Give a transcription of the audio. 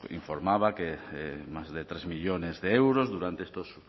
informaba que más de tres millónes de euros durante estos